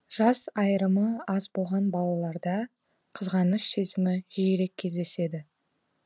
жас айырымы аз болған балаларда қызғаныш сезімі жиірек кездеседі